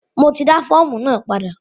Mo ti dá fọ́ọ̀mù náà padà.